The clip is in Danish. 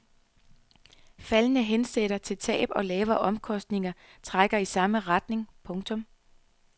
Faldende hensættelser til tab og lavere omkostninger trækker i samme retning. punktum